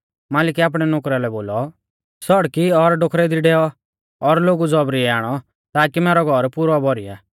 मालिकै आपणै नुकरा लै बोलौ सौड़की और डोखरेऊ दी डैऔ और लोगु ज़ौबरीयै आणौ ताकी मैरौ घौर पुरौ भौरीया